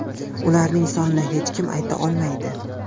Ularning sonini hech kim ayta olmaydi.